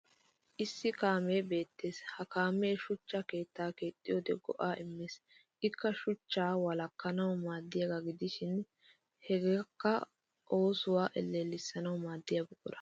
Issi kaamee beettes ha kaamee shuchcha ketta keexxiyoode go'aa immes. Ikka shuchchaa wolakkanawu maaddiyaagaa gidishin hageekka oosuwa ellellissanawu maaddiya buqura.